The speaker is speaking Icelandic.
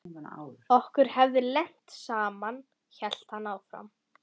Okkur hefði lent saman hélt hann áfram.